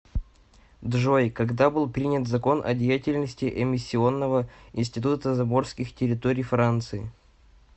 джой когда был принят закон о деятельности эмиссионного института заморских территорий франции